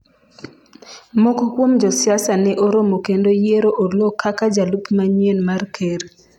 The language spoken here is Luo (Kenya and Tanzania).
moko kuom josiasa ne oromo kendo yiero Oloo kaka jalup manyien mar ker